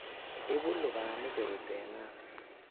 Ibu lubanik korut en nerves